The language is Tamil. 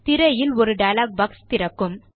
திரையில் ஒரு டயலாக் பாக்ஸ் திறக்கும்